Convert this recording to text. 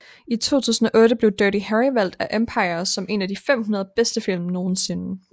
I 2008 blev Dirty Harry valgt af Empire som en af de 500 bedste film nogensinde